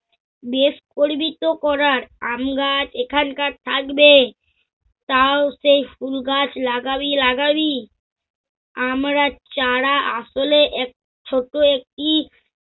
বেশ করবি তো করার আমগাছ এখানকার থাকবে তাও সেই ফুল গাছ লাগাবি লাগাবি। আমরা চারা আসলে এক~ ছোট একটি